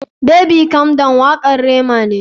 Baby calm down wakar Rema ne.